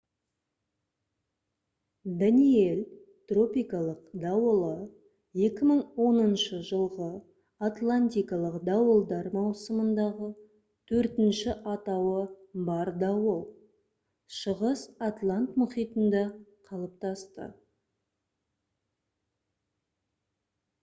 «даниэль» тропикалық дауылы 2010 жылғы атлантикалық дауылдар маусымындағы төртінші атауы бар дауыл шығыс атлант мұхитында қалыптасты